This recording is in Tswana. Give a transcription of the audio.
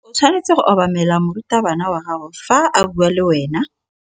O tshwanetse go obamela morutabana wa gago fa a bua le wena.